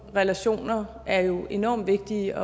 relationer er jo enormt vigtige